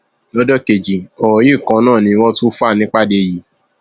lọjọ kejì ọrọ yìí kan náà ni wọn tún ń fà nípàdé yìí